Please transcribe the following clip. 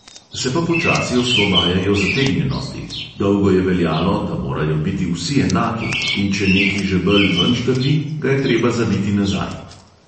Se pa počasi osvobajajo zategnjenosti, dolgo je veljalo, 'da morajo biti vsi enaki, in če neki žebelj ven štrli, ga je treba zabiti nazaj'.